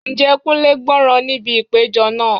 Ǹjẹ́ Kunle gbọ́ràn níbi ìpéjọ náà?